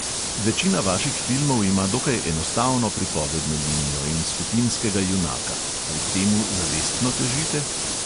Večina vaših filmov ima dokaj enostavno pripovedno linijo in skupinskega junaka – ali k temu zavestno težite?